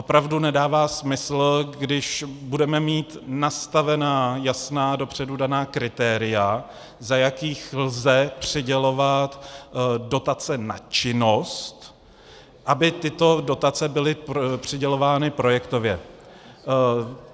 Opravdu nedává smysl, když budeme mít nastavená jasná, dopředu daná kritéria, za jakých lze přidělovat dotace na činnost, aby tyto dotace byly přidělovány projektově.